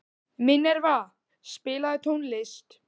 Minerva, spilaðu tónlist.